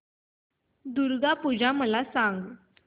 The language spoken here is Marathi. दुर्गा पूजा मला सांग